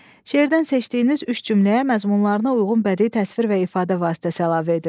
Şeirdən seçdiyiniz üç cümləyə məzmunlarına uyğun bədii təsvir və ifadə vasitəsi əlavə edin.